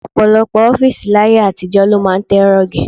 Ọ̀pọ̀lọpọ̀ ọ́fíìsì láyé àtijọ́ ló máa ń tẹ rọ́ọ̀gì.